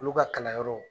Olu ka kalan yɔrɔ